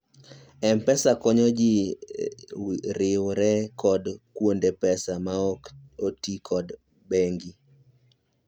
m-pesa konyo ji riwre kod kuonde pesa maok otiyo kod bengi